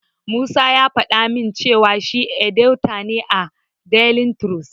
Musa ya faɗa min cewa shi edita ne a daili tirus.